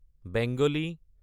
Bengali